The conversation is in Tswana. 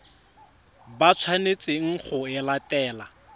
ba tshwanetseng go e latela